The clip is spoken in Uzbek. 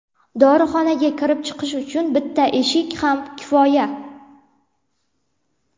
Dorixonaga kirib-chiqish uchun bitta eshik ham kifoya.